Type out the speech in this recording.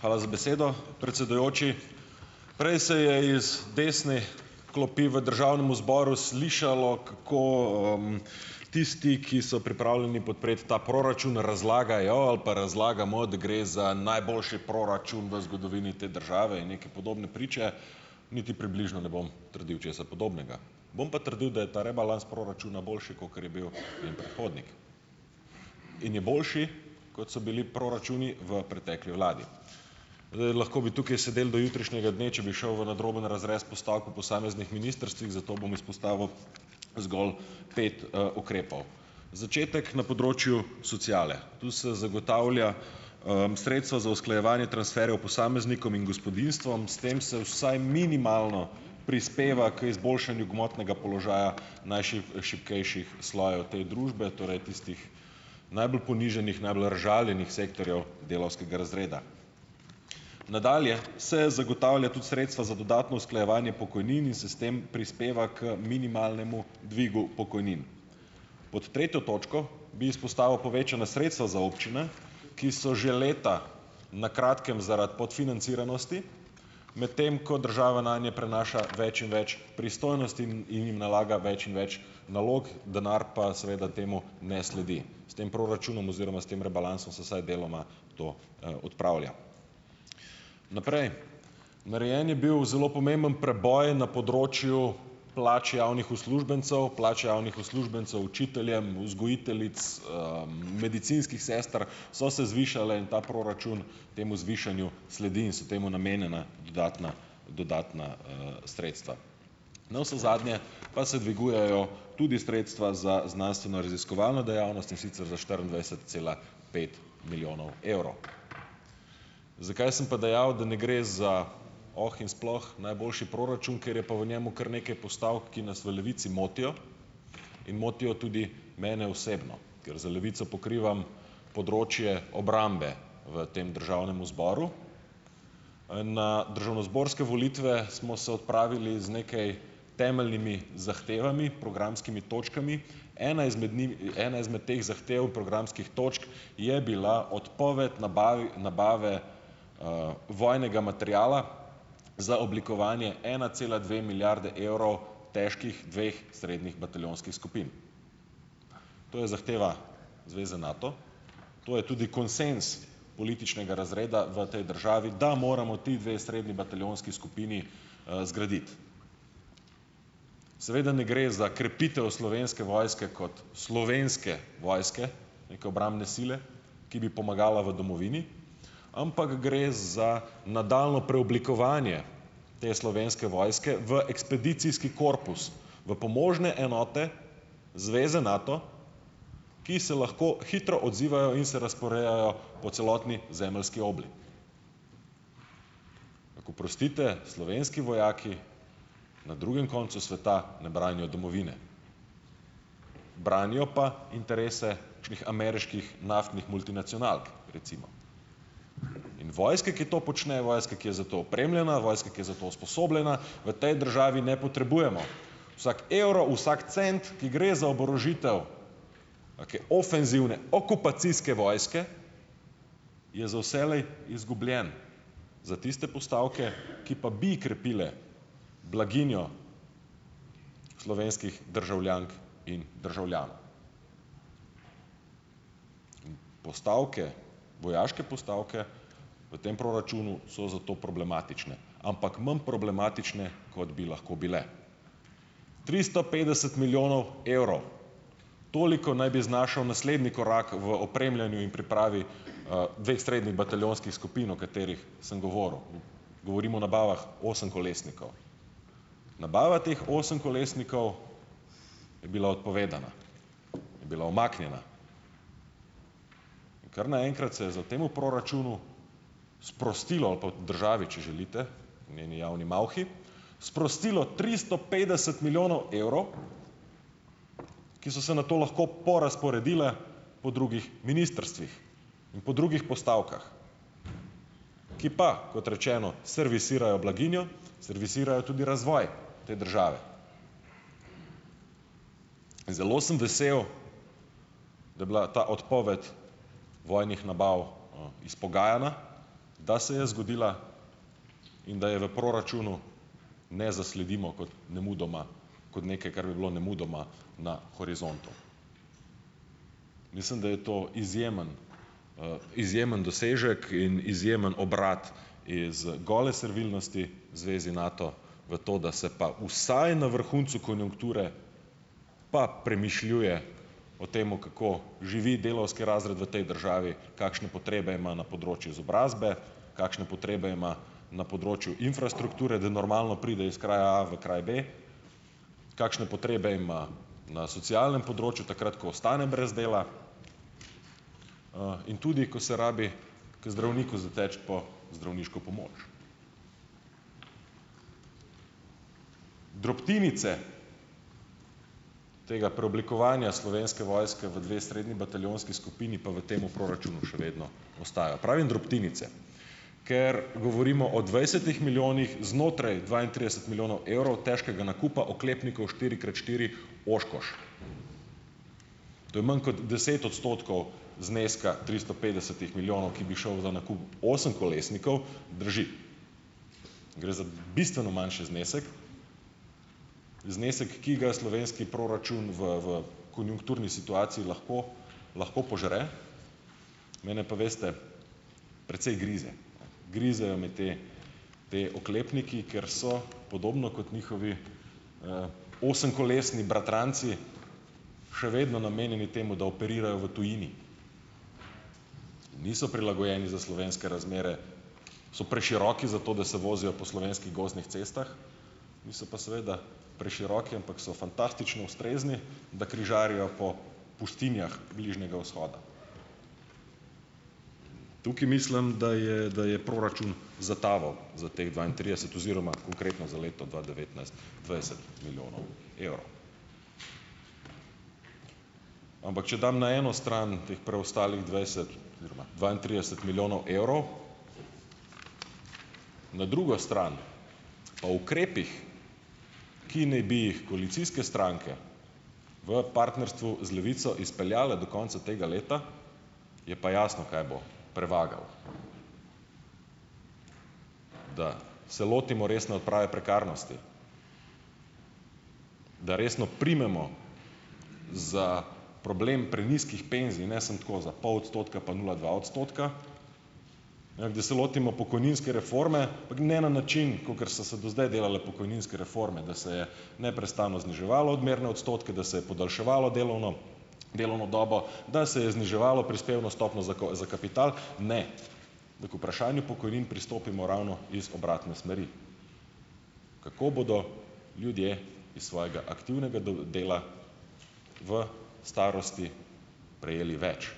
Hvala za besedo, predsedujoči. Prej se je z desne klopi v Državnemu zboru slišalo, kako tisti, ki so pripravljeni podpreti ta proračun, razlagajo ali pa razlagamo, da gre za najboljši proračun v zgodovini te države in neke podobne priče, niti približno ne bom trdil česa podobnega. Bom pa trdil, da je ta rebalans proračuna boljši, kakor je bil njen predhodnik. In je boljši, kot so bili proračuni v pretekli vladi. Lahko bi tukaj sedeli do jutrišnjega dne, če bi šel v nadroben razrez postavke posameznih ministrstvih, zato bom izpostavil zgolj pet ukrepov: začetek na področju sociale. Tu se zagotavlja sredstva za usklajevanje transferjev posameznikom in gospodinjstvom. S tem se vsaj minimalno prispeva k izboljšanju gmotnega položaja šibkejših slojev te družbe, torej tistih najbolj ponižanih, najbolj razžaljenih sektorjev delavskega razreda. Nadalje se zagotavlja tudi sredstva za dodatno usklajevanje pokojnin in se s tem prispeva k minimalnemu dvigu pokojnin. Pod tretjo točko bi izpostavil povečana sredstva za občine, ki so že leta na kratkem zaradi podfinanciranosti, medtem ko država nanje prenaša več in več pristojnosti in jim nalaga več in več nalog, denar pa seveda temu ne sledi. S tem proračunom oziroma s tem rebalansom se vsaj deloma to odpravlja. Naprej. Narejen je bil zelo pomemben preboj na področju plač javnih uslužbencev, plač javnih uslužbencev, učiteljem, vzgojiteljic, medicinskih sester, so se zvišale in ta proračun temu zvišanju sledi in so temu namenjena dodatna dodatna sredstva. Navsezadnje pa se dvigujejo tudi sredstva za znanstvenoraziskovalno dejavnost, in sicer za štiriindvajset cela pet milijonov evrov. Zakaj sem pa dejal, da ne gre za oh in sploh najboljši proračun? Ker je pa v njem kar nekaj postavk, ki nas v Levici motijo in motijo tudi mene osebno, ker za Levico pokrivam področje obrambe v tem državnemu zboru. Na državnozborske volitve smo se odpravili z nekaj temeljnimi zahtevami, programskimi točkami. Ena izmed ena izmed teh zahtev programskih točk je bila odpoved nabave vojnega materiala za oblikovanje ena cela dve milijarde evrov težkih dveh srednjih bataljonskih skupin. To je zahteva zveze NATO. To je tudi konsenz političnega razreda v tej državi, da moramo ti dve srednji bataljonski skupini zgraditi. Seveda ne gre za krepitev Slovenske vojske kot Slovenske vojske, neke obrambne sile, ki bi pomagala v domovini, ampak gre za nadaljnje preoblikovanje te Slovenske vojske v ekspedicijski korpus, v pomožne enote zveze NATO, ki se lahko hitro odzivajo in se razporejajo po celotni zemeljski obli. Oprostite, slovenski vojaki na drugem koncu sveta ne branijo domovine. Branijo pa interese ameriških naftnih multinacionalk, recimo. In vojske, ki to počnejo, vojska, ki je za to opremljena, vojska, ki je za to usposobljena, v tej državi ne potrebujemo. Vsak evro, vsak cent, ki gre za oborožitev ofenzivne, okupacijske vojske, je za vselej izgubljen za tiste postavke, ki pa bi krepile blaginjo slovenskih državljank in državljanov. Postavke, vojaške postavke v tem proračunu so zato problematične, ampak manj problematične, kot bi lahko bile. Tristo petdeset milijonov evrov. Toliko naj bi znašal naslednji korak v opremljanju in pripravi dveh srednjih bataljonskih skupin, o katerih sem govoril. Govorim o nabavah osemkolesnikov. Nabava teh osemkolesnikov je bila odpovedana, je bila umaknjena. In kar naenkrat se je za ta temu proračunu sprostilo, ali pa v državi, če želite, v njeni javni malhi, sprostilo tristo petdeset milijonov evrov, ki so se nato lahko porazporedile po drugih ministrstvih in po drugih postavkah, ki pa, kot rečeno, servisirajo blaginjo, servisirajo tudi razvoj te države. Zelo sem vesel, da je bila ta odpoved vojnih nabav izpogajana, da se je zgodila in da je v proračunu ne zasledimo kot nemudoma kot nekaj, kar bi bilo nemudoma na horizontu. Mislim, da je to izjemen izjemen dosežek in izjemen obrat iz gole servilnosti zvezi NATO, v to, da se pa vsaj na vrhuncu konjunkture pa premišljuje o temu, kako živi delavski razred v tej državi, kakšne potrebe ima na področju izobrazbe, kakšne potrebe ima na področju infrastrukture, da normalno pride iz kraja A v kraj B, kakšne potrebe ima na socialnem področju takrat, ko ostane brez dela, in tudi, ko se rabi k zdravniku zateči po zdravniško pomoč. Drobtinice tega preoblikovanja Slovenske vojske v dve srednji bataljonski skupini pa v temu proračunu še vedno ostajajo. Pravim drobtinice, ker govorimo o dvajsetih milijonih znotraj dvaintrideset milijonov evrov težkega nakupa oklepnikov štiri krat štiri Oškoš. To je manj kot deset odstotkov zneska tristo petdesetih milijonov, ki bi šel za nakup osemkolesnikov, drži. Gre za bistveno manjši znesek, znesek, ki ga slovenski proračun v v konjunkturni situaciji lahko lahko požre. Mene pa, veste, precej grize, ne, grizejo me te ti oklepniki, ker so podobno kot njihovi osemkolesni bratranci še vedno namenjeni temu, da operirajo v tujini, niso prilagojeni za slovenske razmere, so preširoki za to, da se vozijo po slovenskih gozdnih cestah. Niso pa seveda preširoki, ampak so fantastično ustrezni, da križarijo po pustinjah Bližnjega vzhoda. Tukaj mislim, da je da je proračun zataval za teh dvaintrideset oziroma konkretno za leto dva devetnajst dvajset milijonov evrov. Ampak če dam na eno stran teh preostalih dvajset oziroma dvaintrideset milijonov evrov, na drugo stran o ukrepih, ki naj bi jih koalicijske stranke v partnerstvu z Levico izpeljale do konca tega leta, je pa jasno, kaj bo prevagalo, da se lotimo resne odprave prekarnosti, da resno primemo za problem prenizkih penzij, ne samo tako za pol odstotka, pa nula dva odstotka, da se lotimo pokojninske reforme, ampak ne na način, kakor so se do zdaj delale pokojninske reforme, da se je neprestano zniževalo odmerne odstotke, da se je podaljševalo delovno delovno dobo, da se je zniževalo prispevno stopnjo za za kapital, ne, da k vprašanju pokojnin pristopimo ravno iz obratne smeri, kako bodo ljudje iz svojega aktivnega dela v starosti prejeli več,